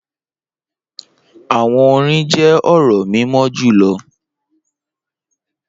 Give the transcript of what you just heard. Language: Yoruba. Awọn orin jẹ ọrọ mimọ julọ